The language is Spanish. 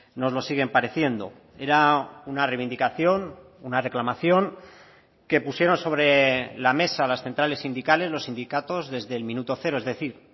nos lo siguen pareciendo era una reivindicación una reclamación que pusieron sobre la mesa las centrales sindicales los sindicatos desde el minuto cero es decir